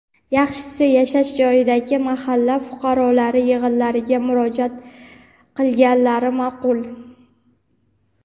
yaxshisi yashash joyidagi mahalla fuqarolari yig‘inlariga murojaat qilganlari maʼqul.